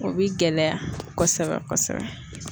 O bi gɛlɛya kosɛbɛ kosɛbɛ.